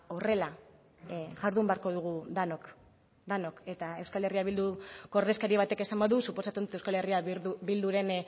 horrela jardun beharko dugu denok denok eta euskal herria bilduko ordezkari batek esan badu suposatzen dut euskal herria bilduren